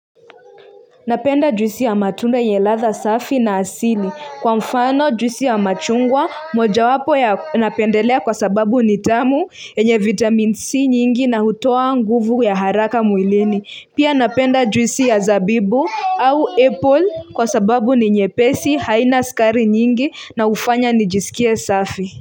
Napenda juisi ya matunda yenye ladha safi na asili. Kwa mfano juisi ya machungwa, mojawapo ya napendelea kwa sababu ni tamu, yenye vitamin C nyingi na hutoa nguvu ya haraka mwilini. Pia napenda juisi ya zabibu au apple kwa sababu ni nyepesi, haina sukari nyingi na hufanya nijisikie safi.